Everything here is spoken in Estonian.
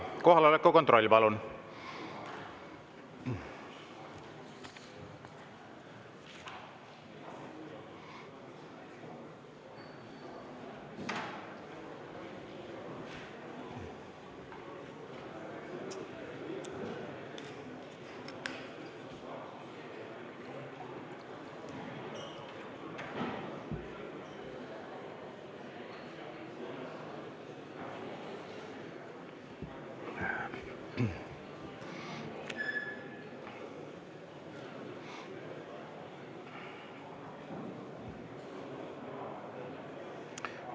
Kohaloleku kontroll, palun!